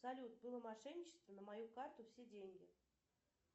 салют было мошенничество на мою карту все деньги